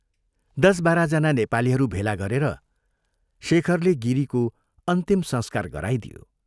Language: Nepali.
दश बाह्र जना नेपालीहरू भेला गरेर शेखरले गिरीको अन्तिम संस्कार गराइदियो।